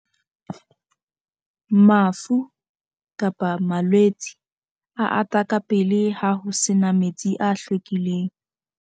mafu, malwetse a ata ka pele ha ho se na metsi a hlwekileng